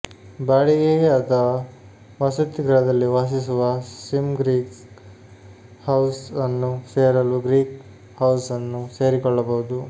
ಬಾಡಿಗೆಗೆ ಅಥವಾ ವಸತಿಗೃಹದಲ್ಲಿ ವಾಸಿಸುವ ಸಿಮ್ ಗ್ರೀಕ್ ಹೌಸ್ ಅನ್ನು ಸೇರಲು ಗ್ರೀಕ್ ಹೌಸ್ ಅನ್ನು ಸೇರಿಕೊಳ್ಳಬಹುದು